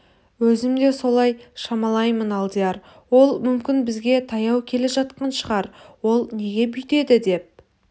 өзім де солай шамалаймын алдияр ол мүмкін бізге таяу келе жатқан шығар ол неге бүйтеді деп